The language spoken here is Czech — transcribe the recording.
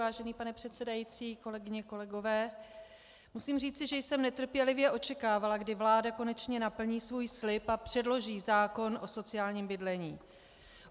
Vážený pane předsedající, kolegyně, kolegové, musím říci, že jsem netrpělivě očekávala, kdy vláda konečně splní svůj slib a předloží zákon o sociálním bydlení.